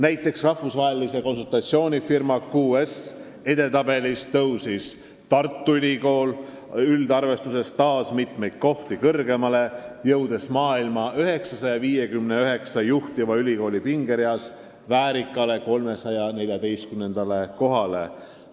Näiteks rahvusvahelise konsultatsioonifirma QS edetabelis tõusis Tartu Ülikool üldarvestuses taas mitu kohta kõrgemale, jõudes maailma 959 juhtiva ülikooli pingereas väärikale 314. kohale.